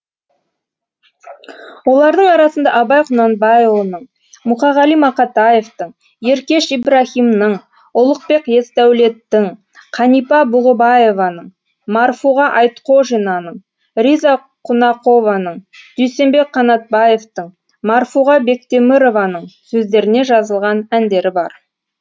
олардың арасында абай құнанбайұлының мұқағали мақатаевтың еркеш ибраһимның ұлықбек есдәулеттің қанипа бұғыбаеваның марфуға айтқожинаның риза қунақованың дүйсенбек қанатбаевтың марфуға бектемірованың сөздеріне жазылған әндері бар